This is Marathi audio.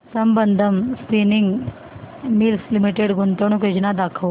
संबंधम स्पिनिंग मिल्स लिमिटेड गुंतवणूक योजना दाखव